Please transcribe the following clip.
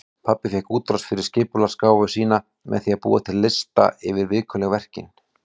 Pabbi fékk útrás fyrir skipulagsgáfu sína með því að búa til lista yfir vikulegu verkin.